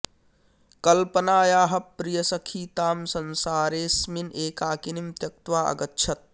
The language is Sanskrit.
कल्पनायाः प्रियसखी तां संसारे ऽ स्मिन् एकाकिनीं त्यक्त्वा अगच्छत्